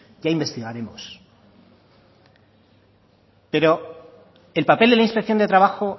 ya investigaremos pero el papel de la inspección de trabajo